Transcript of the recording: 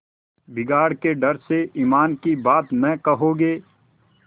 बिगाड़ के डर से ईमान की बात न कहोगे